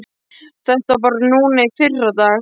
Þetta var bara núna í fyrradag.